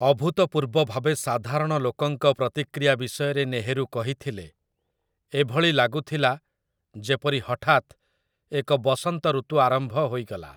ଅଭୂତପୂର୍ବ ଭାବେ ସାଧାରଣଲୋକଙ୍କ ପ୍ରତିକ୍ରିୟା ବିଷୟରେ ନେହେରୁ କହିଥିଲେ, 'ଏଭଳି ଲାଗୁଥିଲା ଯେପରି ହଠାତ୍ ଏକ ବସନ୍ତ ଋତୁ ଆରମ୍ଭ ହୋଇଗଲା' ।